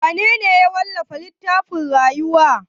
Wanene ya wallafa littafin rayuwa?